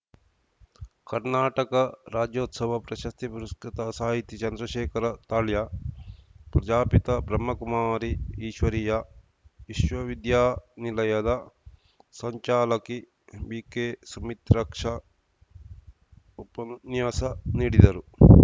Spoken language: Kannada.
ಕರ್ನಾಟಕ ರಾಜ್ಯೋತ್ಸವ ಪ್ರಶಸ್ತಿ ಪುರಸೃತ ಸಾಹಿತಿ ಚಂದ್ರಶೇಖರ ತಾಳ್ಯ ಪ್ರಜಾಪಿತ ಬ್ರಹ್ಮಕುಮಾರಿ ಈಶ್ವರೀಯ ವಿಶ್ವವಿದ್ಯಾನಿಲಯದ ಸಂಚಾಲಕಿ ಬಿಕೆಸುಮಿತ್ರಕ್ಪ ಉಪನ್ಯಾಸ ನೀಡಿದರು